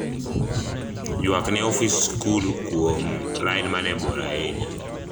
ywak ne ofis sikul kuom lain mane bor ahinya